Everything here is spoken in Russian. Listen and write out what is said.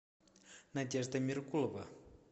надежда меркулова